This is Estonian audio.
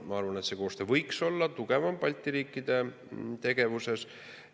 Ma arvan, et see koostöö võiks Balti riikides tugevam olla.